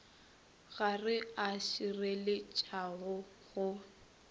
ga re a šireletšega go